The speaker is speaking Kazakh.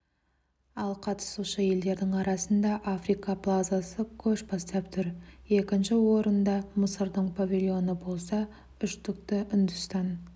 ал қатысушы елдердің арасында африка плазасы көш бастап тұр екінші орында мысырдың павильоны болса үштікті үндістан